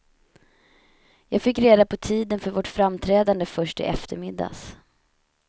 Jag fick reda på tiden för vårt framträdande först i eftermiddags.